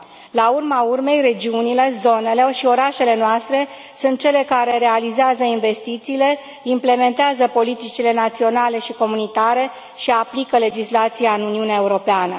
La urma urmei, regiunile, zonele și orașele noastre sunt cele care realizează investițiile, implementează politicile naționale și comunitare și aplică legislația în Uniunea Europeană.